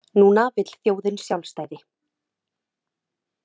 Núna vill þjóðin sjálfstæði.